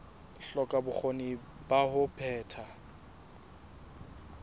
hloka bokgoni ba ho phetha